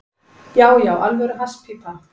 Já, já, alvöru hasspípa.